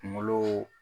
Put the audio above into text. Kunkolo